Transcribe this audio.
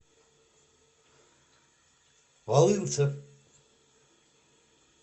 валынцев